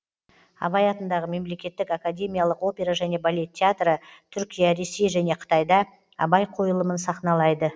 абай атындағы мемлекеттік академиялық опера және балет театры түркия ресей және қытайда абай қойылымын сахналайды